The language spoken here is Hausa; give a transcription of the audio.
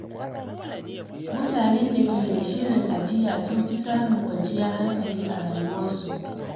Mutanen da ke da shirin ajiya sukan fi samun kwanciyar hankali a rayuwa.